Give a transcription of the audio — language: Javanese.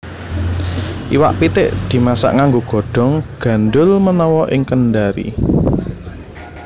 Iwak pitik dimasak nganggo godhong gandhul menawa ing Kendari